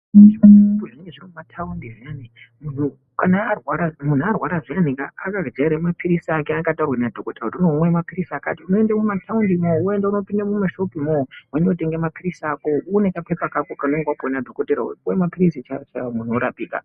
Zvimashopu zvinenge zvirimunataundi zviyana , munhu kana arwara zviyani akajaire maphirizi Ake aakataurirwa madhokodheya kuti unomwe maphirizi akati unoende kumataundi munyani woende kopinda mumashopumo wondotenga maphirizi ako une kapepa kako kunenge wakapiwa nadhokoteya wopuwe maphirizi chaiwo chaiwo munto wotoraoika.